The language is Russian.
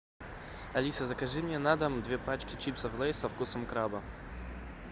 алиса закажи мне на дом две пачки чипсов лейс со вкусом краба